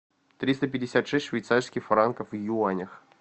триста пятьдесят шесть швейцарских франков в юанях